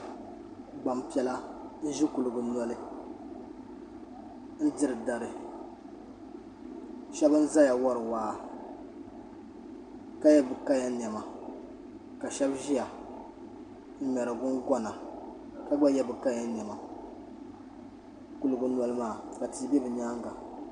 Gbanpiɛla n ʒe kuligi noli n diri dari shɛbi n ʒeya wari waa ka ye bi kaya nɛma ka shɛbi ʒiya n ŋmeri gungona ka gba ye bi kaya nɛma kuligi noli maa ka tii be bɛ nyaaŋa.